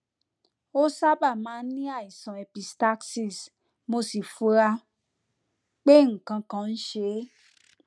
ó sábà máa ń ní àìsàn epistaxis mo sì fura pé nǹkan kan ń ṣe é